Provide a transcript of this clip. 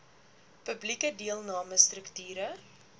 publieke deelname strukture